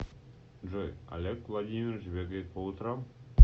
джой олег владимирович бегает по утрам